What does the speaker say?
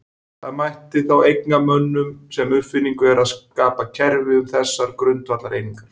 Það sem mætti þá eigna mönnum sem uppfinningu er að skapa kerfi um þessar grundvallareiningar.